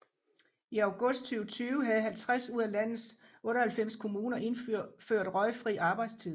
I august 2020 havde 50 ud af landets 98 kommuner indført røgfri arbejdstid